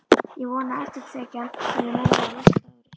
Ég vona að eftirtekjan verði meiri á næsta ári.